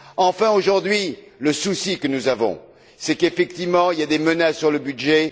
Enfin, aujourd'hui, le souci que nous avons, ce sont effectivement les menaces sur le budget.